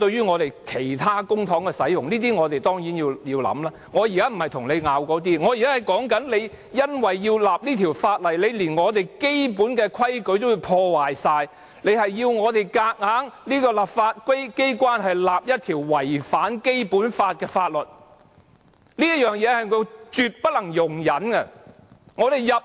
我現在不是要爭拗這些，而是說因為要訂立這項法例，連我們基本的規矩也完全破壞，硬要我們這個立法機關訂立一項違反《基本法》的法律，這是絕不能容忍的。